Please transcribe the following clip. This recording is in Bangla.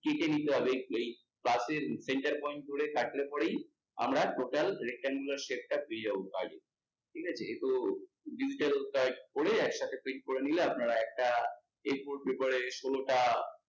কেটে নিতে হবে, এই plus এর center point ধরে কাটলে পরেই আমরা total rectangular shape টা পেয়ে যাবো, ঠিক আছে তো একসাথে print করে নিলে আপনারা একটা ষোলোটা